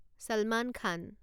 চালমান খান